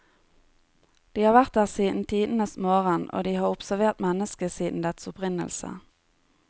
De har vært der siden tidenes morgen, og de har observert mennesket siden dets opprinnelse.